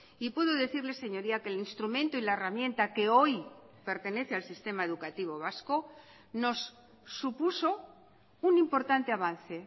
y puedo decirle señoría que el instrumento y la herramienta que hoy pertenece al sistema educativo vasco nos supuso un importante avance